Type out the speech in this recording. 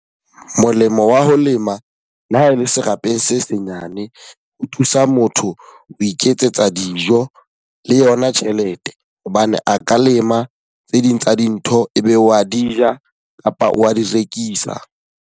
Molemo wa ho lema, le ha e le serapeng se senyane. Ho thusa motho ho iketsetsa dijo le yona tjhelete. Hobane a ka lema tse ding tsa dintho e be wa di ja kapa wa di rekisa.